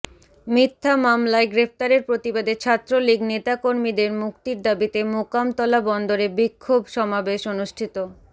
মিথ্যা মামলায় গ্রেফতারের প্রতিবাদে ছাত্রলীগ নেতাকর্মীদের মুক্তির দাবীতে মোকামতলা বন্দরে বিক্ষোভ সমাবেশ অনুষ্ঠিত